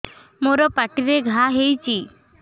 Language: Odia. ମୋର ପାଟିରେ ଘା ହେଇଚି